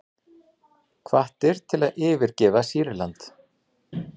Hvattir til að yfirgefa Sýrland